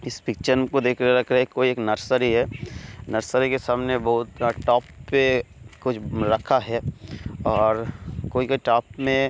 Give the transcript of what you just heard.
इस पिक्चर को देख रहा है कोई एक नर्सरी है नर्सरी के सामने बहुत टॉप पे कुछ रखा है और कोई के टॉप में--